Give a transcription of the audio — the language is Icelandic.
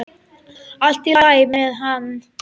Allt í lagi með hann.